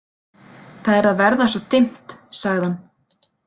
Það er að verða svo dimmt, sagði hann.